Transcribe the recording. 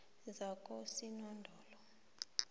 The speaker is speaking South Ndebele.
zakosinodolo